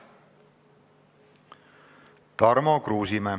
Tarmo Kruusimäe.